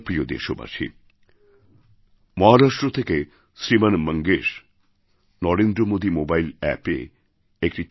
প্রিয় দেশবাসী মহারাষ্ট্র থেকে শ্রীমান মঙ্গেশ নরেন্দ্র মোদী মোবাইল অ্যাপএ একটি